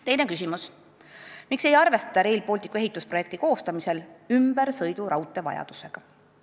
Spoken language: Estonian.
Teine küsimus: "Miks ei arvestata RB ehitusprojekti koostamisel ümbersõiduraudtee vajadusega?